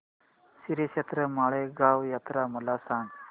श्रीक्षेत्र माळेगाव यात्रा मला सांग